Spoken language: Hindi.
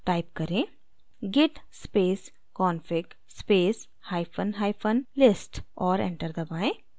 type करें: git space config space hyphen hyphen list और enter दबाएँ